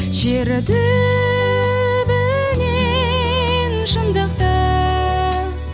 шер түбінен шындықты